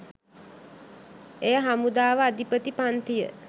එය හමුදාව අධිපති පංතිය